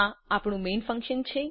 આ આપણું main function છે